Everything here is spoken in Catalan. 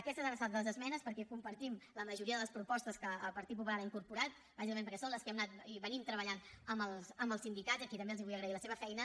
aquestes han estat les esmenes perquè compartim la majoria de les propostes que el partit popular hi ha incorporat bàsicament perquè són les que hem anat treballant amb els sindicats als que també vull agrair la seva feina